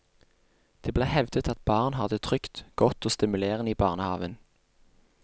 Det blir hevdet at barn har det trygt, godt og stimulerende i barnehaven.